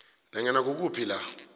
nanyana kukuphi la